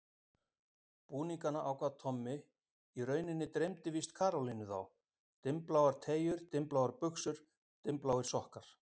Búningana ákvað Tommi, í rauninni dreymdi víst Karolínu þá: Dimmbláar treyjur, dimmbláar buxur, dimmbláir sokkar.